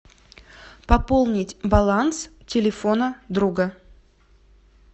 пополнить баланс телефона друга